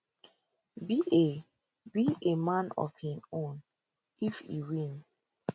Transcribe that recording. be a be a man of im own if e win